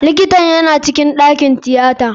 Likitan yana cikin ɗakin tiyata.